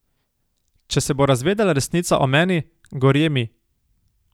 Če se bo razvedela resnica o meni, gorje mi.